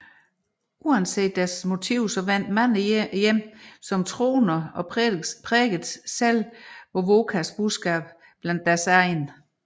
Uanset deres motiv vendte mange hjem som troende og prædikede selv Wovokas budskab blandt deres egne